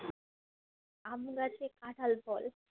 আম গাছে কাঁঠাল ফল